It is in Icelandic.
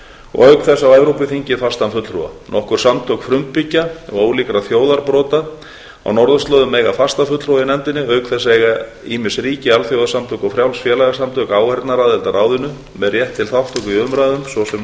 og auk þess á evrópuþingið fastan fulltrúa nokkur samtök frumbyggja og ólíkra þjóðarbrota á norðurslóðum eiga fasta fulltrúa í nefndinni auk þess eiga ýmis ríki alþjóðasamtök og frjáls félagasamtök áheyrnaraðild að ráðinu með rétt til þátttöku í umræðum svo sem